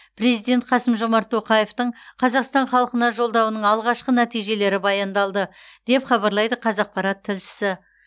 президент қасым жомарт тоқаевтың қазақстан халқына жолдауының алғашқы нәтижелері баяндалды деп хабарлайды қазақпарат тілшісі